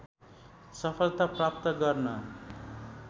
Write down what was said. सफलता प्राप्त गर्न